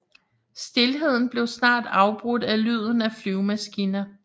Stilheden blev snart afbrudt af lyden af flyvemaskiner